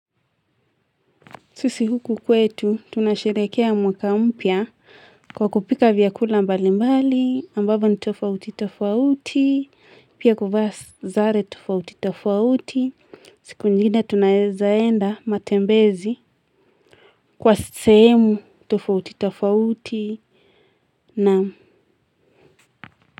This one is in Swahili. Sisi huku kwetu tunasherehekea mwaka mpya kwa kupika vyakula mbalimbali ambavyo ni tofauti tofauti pia kuvaa sare tofauti tofauti siku nyingine tunaeza enda matembezi kwa sehemu tofauti tofauti na.